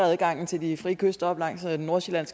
adgang til de frie kyster op langs nordsjælland